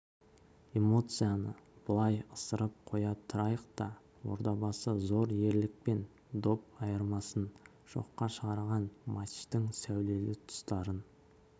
эмоцияны былай ысырып қоя тұрайық та ордабасы зор ерлікпен доп айырмасын жоққа шығарған матчтың сәулелі тұстарын